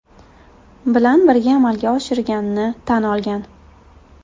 Bilan birga amalga oshirganini tan olgan.